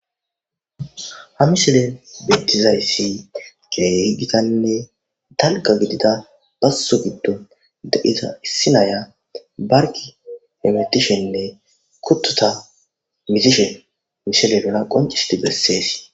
ha mishelen beittizayssi qe higitanne dalqa gidida basso giddo da7iza issi naya barki emetishenne kuttota misishe mishele bela qoncisiti bessees